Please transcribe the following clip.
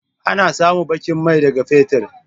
A na samun baƙin mai ne daga fetur.